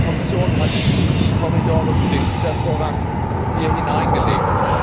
Die Kommission hat die Korridore für den Gütervorrang hier hineingelegt.